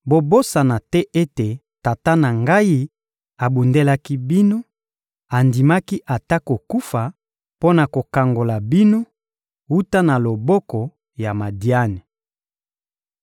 bobosana te ete tata na ngai abundelaki bino, andimaki ata kokufa mpo na kokangola bino wuta na loboko ya Madiani.